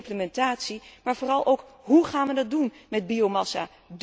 Veel implementatie, maar vooral ook hoe gaan wij dat doen met biomassa?